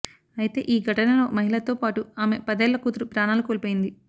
అయితే ఈ ఘటనలో మహిళతో పాటు ఆమె పదేళ్ల కూతురు ప్రాణాలు కోల్పోయింది